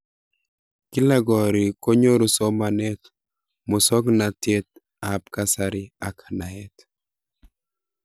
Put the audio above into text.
Kila korikkonyoru somanet, musoknatet ab kasari ak naet.